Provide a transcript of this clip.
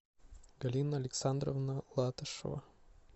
галина александровна латышева